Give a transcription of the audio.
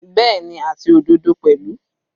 Bẹ́ẹ̀ni, àti òdodo pẹ̀lú.